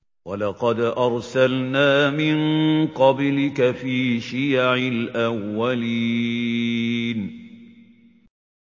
وَلَقَدْ أَرْسَلْنَا مِن قَبْلِكَ فِي شِيَعِ الْأَوَّلِينَ